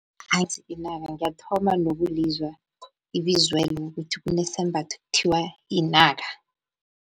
inaka ngiyathoma nokulizwa ibizwelo ukuthi kunesembatho ekuthiwa yinaka.